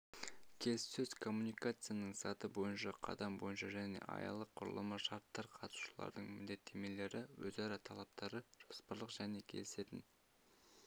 келіссөз коммуникациясының саты бойынша қадам бойынша және аялық құрылымы шарттар қатысушылардың міндеттемелері өзара талаптары жоспарлық және келісетін